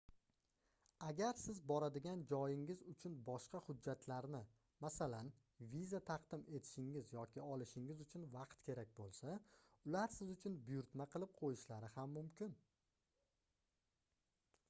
agar sizga boradigan joyingiz uchun boshqa hujjatlarni masalan viza taqdim etishingiz yoki olishingiz uchun vaqt kerak bo'lsa ular siz uchun buyurtma qilib qo'yishlari ham mumkin